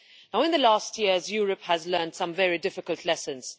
In recent years, Europe has learned some very difficult lessons.